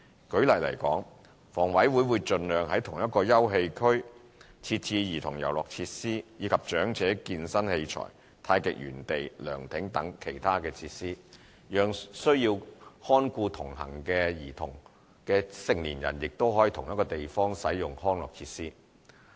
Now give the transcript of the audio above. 舉例來說，房委會會盡量在同一個休憩區設置兒童遊樂設施，以及長者健身器材、太極園地、涼亭等其他設施，讓需要看顧同行的兒童的成年人亦可在同一地方使用康樂設施。